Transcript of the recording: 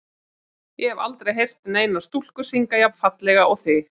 Ég hef aldrei heyrt neina stúlku syngja jafn fallega og þig.